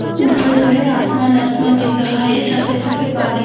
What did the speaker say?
ऊपर जो हैआसमान आसमान दिख रहा हैसफेद सफेद बादल